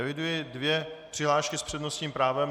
Eviduji dvě přihlášky s přednostním právem.